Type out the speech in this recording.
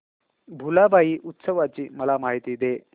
भुलाबाई उत्सवाची मला माहिती दे